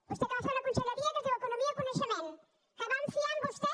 vostè que va fer una conselleria que es diu economia i coneixement que vam fiar en vostè